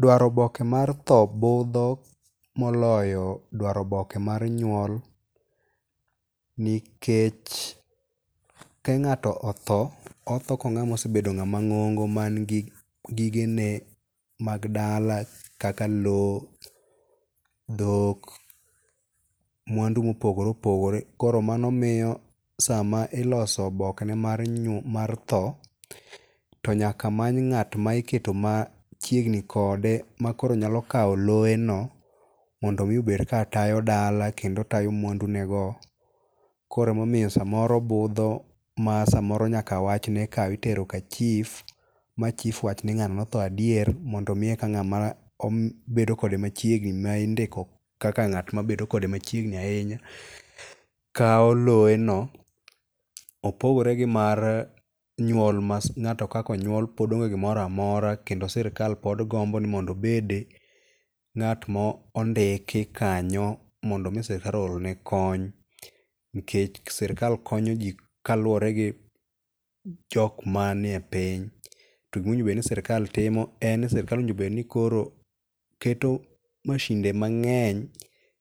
Dwaro oboke mar tho budho moloyo dwaro oboke mar nyuol nikech kang'ato otho, otho ko osebedo ng'ama ng'ongo man gi gige ne mag dala kaka low, dhok, mwandu mopogore opogore. Koro mano miyo sama iloso oboke ne mar tho, to nyaka many ng'at ma iketo machiegni kode ma koro nyalo kaw lowe no mondo miyo obed ka tayo dala kendo tayo mwandu ne go. Koro emomiyo samoro obudho ma samoro nyaka wachne ikaw itero ka chif ma chif wach ni ng'ano ne otho adier. Mondo mi eka ng''ama bedo kode machiegni ma indiko kaka ng'at ma bedo kode machiegni ahinya kaw lowe no. Opogore gi mar nyuol ma ng'ato kaka onyuol pod onge gimoro amora kendo sirkal pod gombo nimondo obed ng'at ma ondiki kanyo mondo mi sirkal o or ne kony. Nikech sirkal konyoji kaluwori gi jok mani e piny. To gimowinjore bed ni sirkal timo en ni sirkal owinjo bed ni koro keto masinde mang'eny